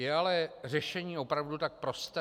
Je ale řešení opravdu tak prosté?